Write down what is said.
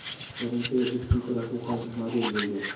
Birinchi va ikkinchi rafiqasi model bo‘lgan.